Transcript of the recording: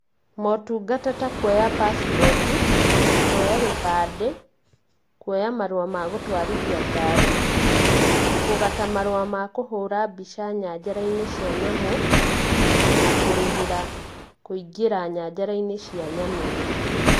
Motungata ta kuoya pacipoti, kuoya gĩbandĩ, kuoya marũa magũtwarithia ngari, kũgata marũa makũhũra mbica nyanjara-inĩ cia nyamũ, na kũrĩhĩra kũingĩra nyanjara-inĩ cia nyamũ.